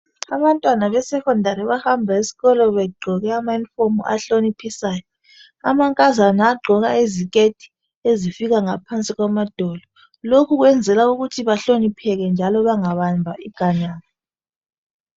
Abantwana besecondary bahambe esikolo begqoke amayunifomu ahloniphisayo amankazana agqoka iziketi ezifika ngaphansi emadolo lokho kwenzela ukuthi bahlonipheke njalo bangabambi iganga.